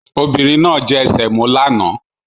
Obìnrin náà jẹ semo lánàá